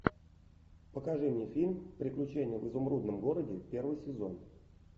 покажи мне фильм приключения в изумрудном городе первый сезон